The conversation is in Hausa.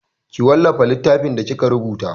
Ki wallafa littafinki da kika rubuta!